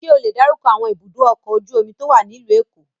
Ṣé ó le dárúkọ àwọn ibùdó-ọkọ̀ ojú-omi tó wà nílùú Èkó?